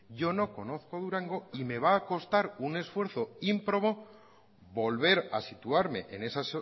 yo no conozco durango y me va a costar un esfuerzo ímprobo volver a situarme en esa